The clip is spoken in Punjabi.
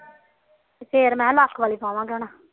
ਫੇਰ ਮੈ ਕਿਹਾ ਲੱਖ ਵਾਲੀ ਪਾਮਾਗੇ ਹੁਣ